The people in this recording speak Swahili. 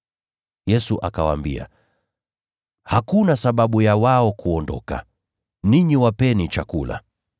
Yesu akawaambia, “Hakuna sababu ya wao kuondoka. Ninyi wapeni chakula.”